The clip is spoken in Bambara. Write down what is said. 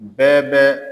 Bɛɛ bɛ